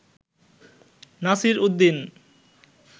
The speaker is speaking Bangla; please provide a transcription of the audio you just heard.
নাসির উদ্দিন